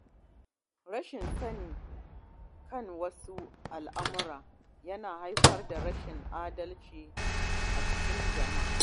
Rashin sani kan wasu al’amura yana haifar da rashin adalci a cikin jama’a.